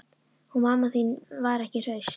Hún mamma þín var ekki hraust.